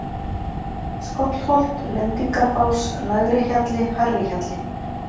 Skollholt, Lendingarbás, Lægri-Hjalli, Hærri-Hjalli